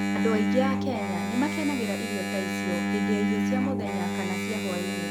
Andũ aingĩ a Kenya nĩ makenagĩra irio ta icio hĩndĩ ya irio cia mũthenya kana cia hwaĩ-inĩ.